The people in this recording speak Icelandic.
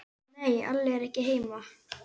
Nei, Alli er ekki heima.